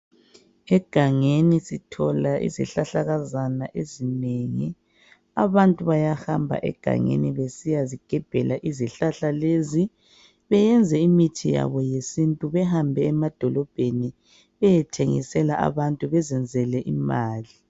Egangeni sithola izihlahlakazana ezinengi abantu bayahamba egangeni besiya zigebhela izihlahla lezi beyenze imithi yabo yesintu behambe emadolobheni beyethengisela abantu bezenzele imali.